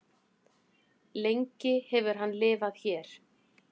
lengi hefur hann lifað hér